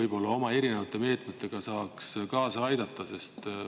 Ja kuidas saaks riik oma meetmetega kaasa aidata?